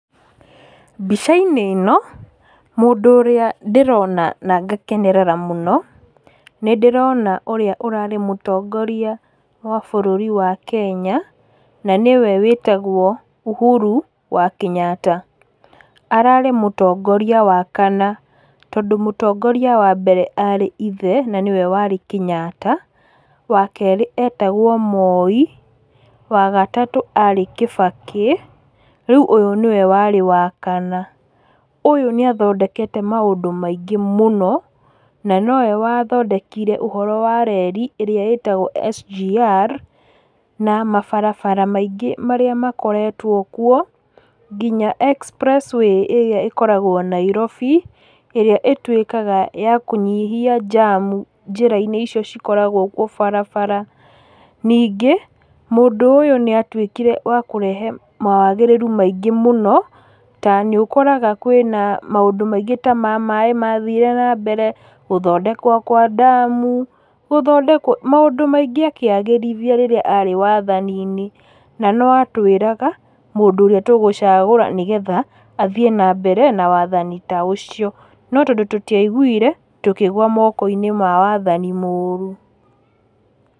Mbica-inĩ ĩno mũndũ ũrĩa ndĩrona na ngakenerera mũno, nĩndĩrona ũrĩa ũrarĩ mũtongoria wa bũrũri wa Kenya na nĩwe wĩtagwo Uhuru wa Kenyatta. Ararĩ mũtongoria wa kana tondũ mũtongoria wa mbere arĩ ithe na nĩwe warĩ Kenyatta, wakerĩ etagwo Moi, wagatatũ arĩ Kibaki, rĩu ũyũ nĩwe warĩ wa kana. Ũyũ nĩathondekete maũndũ maingĩ mũno na nowe wathondekire ũhoro wa reri ĩrĩa ĩtagwo SGR na mabarabara maingĩ marĩa makoretwo kwo, nginya Expressway ĩrĩa ĩkoragwo Nairobi ĩrĩa ĩtwĩkaga yakũnyihia jamu njĩra-inĩ ĩcio cikoragwo kwo baarabara. Ningĩ mũndũ ũyũ nĩatuĩkire wa kũrehe mawagĩrĩru maingĩ mũno, ta nĩũkoraga kwĩna maũndũ maingĩ ta ma maaĩ mathire nambere, gũthondekwo kwa damu, gũthondekwo, maũndũ maingĩ akĩagĩrithia rĩrĩa arĩ wathani-inĩ. Na noatwĩraga mũndũ ũrĩa tũgũcagũra nĩgetha athiĩ nambere na wathani ta ũcio. No tondũ tũtiaiguire tũkĩgwa moko-inĩ ma wathani mũũru.